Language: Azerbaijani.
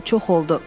çox oldu.